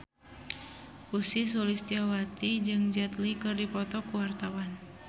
Ussy Sulistyawati jeung Jet Li keur dipoto ku wartawan